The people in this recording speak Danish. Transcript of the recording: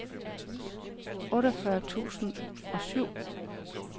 otteogfyrre tusind og syv